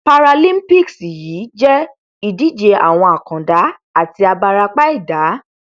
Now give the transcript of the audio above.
paralimpics yìí jẹ ìdíje àwọn àkàndá àti abarapa ẹdá